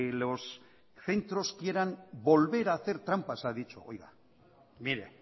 los centros quieran volver a hacer trampas ha dicho oiga mire